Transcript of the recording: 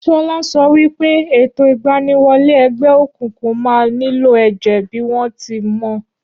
Ṣọlá sọ wípé ètò ìgbaniwọlé ẹgbẹ́ òkùnkùn máa nílò èjè bíi won ti mọ